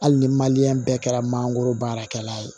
Hali ni bɛɛ kɛra mangoro baarakɛla ye